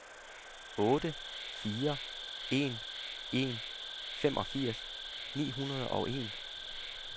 otte fire en en femogfirs ni hundrede og en